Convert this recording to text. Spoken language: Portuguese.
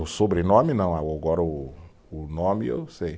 O sobrenome não, agora o o nome eu sei.